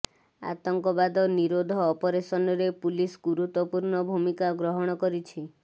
ଆତଙ୍କବାଦ ନିରୋଧ ଅପରେସନରେ ପୁଲିସ୍ ଗୁରୁତ୍ୱପୂର୍ଣ୍ଣ ଭୂମିକା ଗ୍ରହଣ କରିଛି